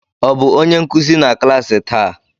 Ọ bụ onye nkuzi na klas taa?